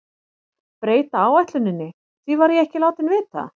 Breyta áætluninni, því var ég ekki látinn vita.